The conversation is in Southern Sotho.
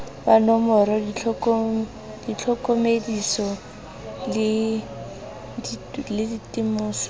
wa nomora ditlhokomediso le ditemoso